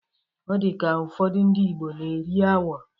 Ọ dị ka, ụfọdụ ndi Ịgbo na-eri agwọ